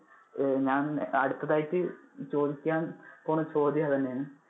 അഹ് ഞാൻ അടുത്തതായിട്ട് ചോദിക്കാൻ അഹ് പോണ ചോദ്യം അത് തന്നെ ആണ്.